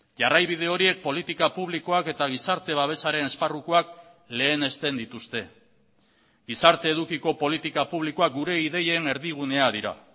jarraibide horiek politika publikoak eta gizarte babesaren esparrukoak lehenesten dituzte gizarte edukiko politika publikoak gure ideien erdigunea dira